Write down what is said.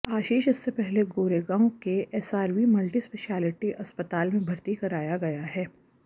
आशीष इससे पहले गोरेगांव के एसआरवी मल्टी स्पेशलिटी अस्पताल में भर्ती कराया गया है